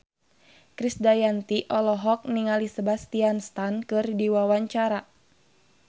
Krisdayanti olohok ningali Sebastian Stan keur diwawancara